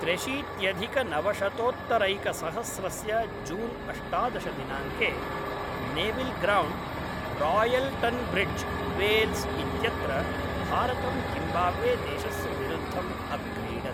त्र्यशीत्यधिकनवशतोत्तरैकसहस्रस्य June अष्टादशदिनाङ्के Nevill Ground, Royal Tunbridge Wells इत्यत्र भारतं जिम्बाब्वे देशस्य विरुद्धम् अक्रीडत्।